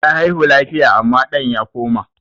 Ta haihu lafiya amma ɗan ya koma.